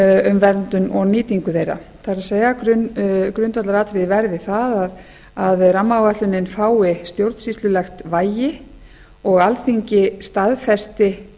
um verndun og nýtingu þeirra það er grundvallaratriðið verði það að rammaáætlunin fái stjórnsýslulegt vægi og alþingi staðfesti